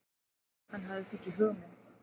Hann hafði fengið hugmynd.